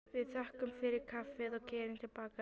Við þökkum fyrir kaffið og keyrum til baka.